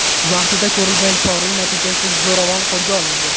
Vaqtida ko‘rilgan choralar natijasida zo‘ravon qo‘lga olindi.